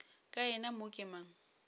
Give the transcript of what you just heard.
ka yena mo ke mang